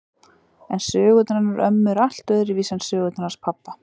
En sögurnar hennar ömmu eru allt öðruvísi en sögurnar hans pabba.